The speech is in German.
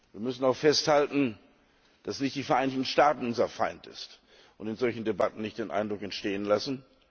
Wir müssen auch festhalten, dass nicht die Vereinigten Staaten unser Feind sind, und dürfen in solchen Debatten nicht diesen Eindruck entstehen lassen.